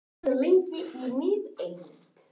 Ólöf, heyrðu í mér eftir tuttugu og fimm mínútur.